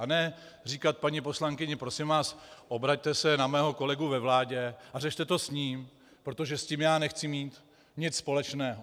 A ne říkat paní poslankyni: Prosím vás, obraťte se na mého kolegu ve vládě a řešte to s ním, protože s tím já nechci mít nic společného.